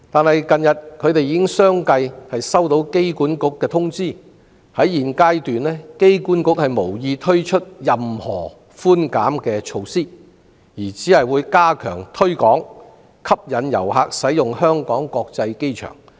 然而，近日他們已相繼接獲機管局通知，指現階段機管局無意推出任何寬減措施，而只會加強推廣，以吸引遊客使用香港國際機場。